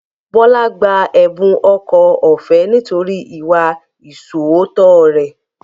Bọlá gba ẹ̀bùn ẹ̀kọ́ ọ̀fẹ́ nítorí ìwà ìṣóòótọ́ rẹ̀